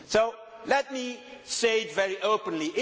So let me say it very openly.